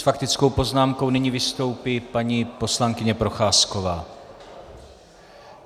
S faktickou poznámkou nyní vystoupí paní poslankyně Procházková.